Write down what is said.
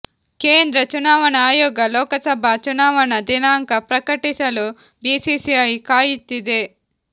ಕೇಂದ್ರ ಚುನಾವಣಾ ಅಯೋಗ ಲೋಕಸಭಾ ಚುನಾವಣಾ ದಿನಾಂಕ ಪ್ರಕಟಿಸಲು ಬಿಸಿಸಿಐ ಕಾಯುತ್ತಿದೆ